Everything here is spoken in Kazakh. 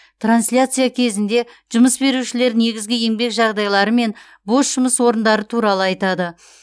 трансляция кезінде жұмыс берушілер негізгі еңбек жағдайлары мен бос жұмыс орындары туралы айтады